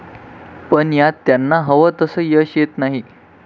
पण यात त्यांना हवं तसं यश येत नाही.